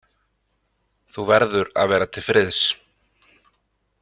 Þú verður að vera til friðs.